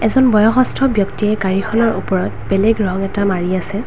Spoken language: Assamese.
এজন বয়ষ্ঠত ব্যক্তিয়ে গাড়ীখনৰ ওপৰত বেলেগ ৰং এটা মাৰি আছে।